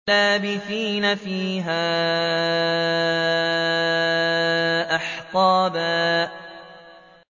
لَّابِثِينَ فِيهَا أَحْقَابًا